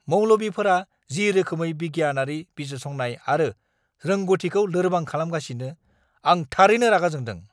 मौलबीफोरा जि रोखोमै बिगियानारि बिजिरसंनाय आरो रोंग'थिखौ लोरबां खालामगासिनो, आं थारैनो रागा जोंदों।